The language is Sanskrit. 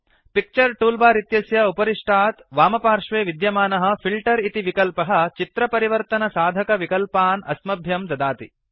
पिक्चर टूलबार इत्यस्य उपरिष्टात् वामपार्श्वे विद्यमानः फिल्टर इति विकल्पः चित्र परिवर्तनसाधकविकल्पान् अस्मभ्यं ददाति